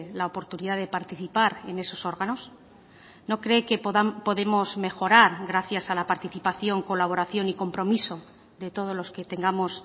la oportunidad de participar en esos órganos no cree que podemos mejorar gracias a la participación colaboración y compromiso de todos los que tengamos